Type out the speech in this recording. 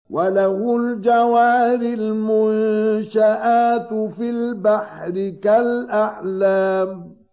وَلَهُ الْجَوَارِ الْمُنشَآتُ فِي الْبَحْرِ كَالْأَعْلَامِ